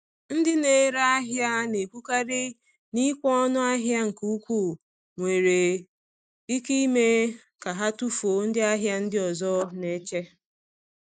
Ndị na-ere ahịa na-ekwukarị na ịkwụ ọnụ ahịa nke ukwuu nwere ike ime ka ha tufuo ndị ahịa ndị ọzọ na-eche.